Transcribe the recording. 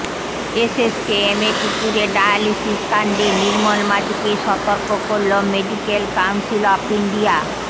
এসএসকেএমে কুকুরের ডায়ালিসিস কাণ্ডে নির্মল মাজিকে সতর্ক করল মেডিক্যাল কাউন্সিল অফ ইন্ডিয়া